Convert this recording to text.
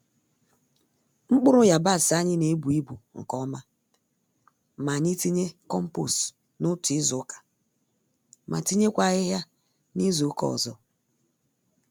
Mkpụrụ yabasị anyị n'ebu-ibu nke ọma, ma anyị tinye kompost n'otu izuka ma tinyekwa ahịhịa nizuka ọzọ.